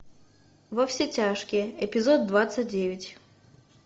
во все тяжкие эпизод двадцать девять